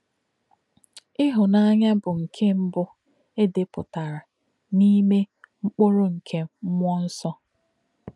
Íhùnà̄nyá̄ bụ́ nké̄ mbụ̀ è dè̄pụ̀tà̄rà̄ n’ímè̄ “mkpụ̀rụ́ nké̄ mmú̄ọ̄ nsọ̄.”